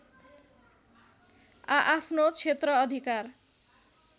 आआफ्नो क्षेत्र अधिकार